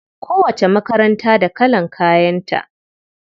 Kowacce makaranta da kalan kayan ta.